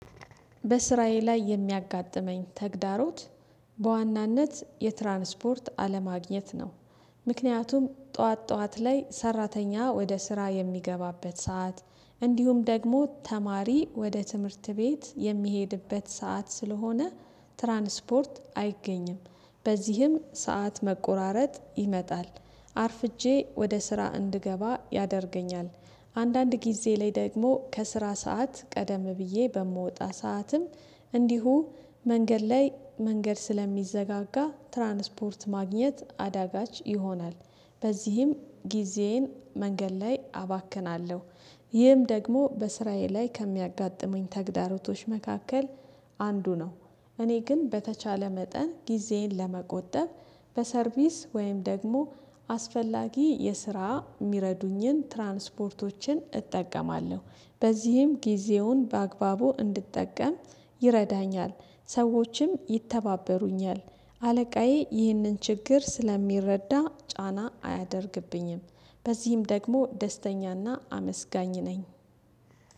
በስራዬ ላይ የሚያጋጥመኝ ተግዳሮት በዋናነት የትራንስፖርት አለማግኘት ነው። ምክንያቱም ጠዋት ጠዋት ላይ ሰራተኛ ወደ ስራ የሚገባበት ሰዓት እንዲሁም ደግሞ ተማሪ ወደ ትምህርት ቤት የሚሄድበት ሰዓት ስለሆነ ትራንስፖርት አይገኝም። በዚህም ሰዓት መቆራረጥ ይመጣል። አርፍጄ ወደ ስራ እንድገባ ያደርገኛል። አንዳንድ ጊዜ ላይ ደግሞ ከስራ ሰዓት ቀደም ብዬ በምወጣ ሰዓትም እንዲሁ መንገድ ላይ መንገድ ስለሚዘጋጋ ትራንስፖርት ማግኘት አዳጋች ይሆናል። በዚህም ጊዜዬን መንገድ ላይ አባክናለሁ። ይህም ደግሞ በስራዬ ላይ ከሚያጋጥሙኝ ተግዳሮቶች መካከል አንዱ ነው። እኔ ግን በተቻለ መጠን ጊዜን ለመቆጠብ በሰርቪስ ወይም ደግሞ አስፈላጊ የስራ የሚረዱኝን ትራንስፖርቶችን እጠቀማለሁ። በዚህም ጊዜውን በአግባቡ እንድጠቀም ይረዳኛል። ሰዎችም ይተባበሩኛል። አለቃዬ ይህንን ችግር ስለሚረዳ ጫና አያደርግብኝም። በዚህም ደግሞ ደስተኛና አመስጋኝ ነኝ